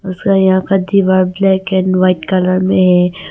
उसका यहां का दीवार ब्लैक एंड व्हाइट कलर में है।